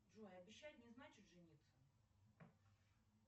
джой обещать не значит жениться